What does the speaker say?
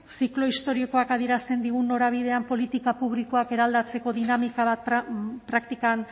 ziklo historikoak adierazten digun norabidean politika publikoak eraldatzeko dinamika bat praktikan